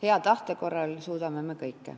Hea tahte korral me suudame kõike.